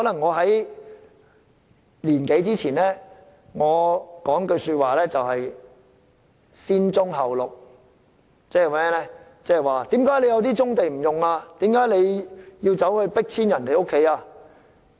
一年多前，我經常會說"先棕後綠"，問為何不先發展棕地而要將村民迫遷？